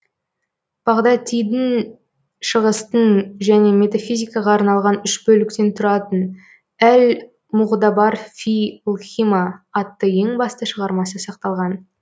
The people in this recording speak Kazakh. бағдатидің шығыстың және метафизикаға арналған үш бөліктен тұратын әл муғтабар фи лхикма атты ең басты шығармасы сақталған